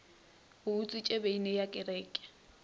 o utswitše beine ya kereke